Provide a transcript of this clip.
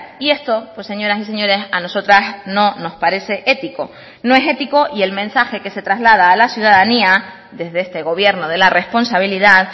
y esto pues señoras y señores a nosotras no nos parece ético no es ético y el mensaje que se traslada a la ciudadanía desde este gobierno de la responsabilidad